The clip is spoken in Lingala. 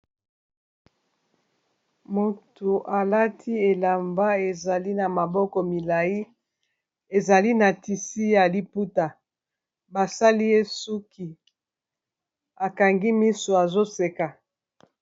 Moto alati elamba ezali na maboko milai ezali na tisi ya liputa basali esuki akangi miso azoseka.